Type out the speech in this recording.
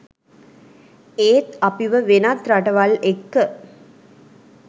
ඒත් අපිව වෙනත් රටවල් එක්ක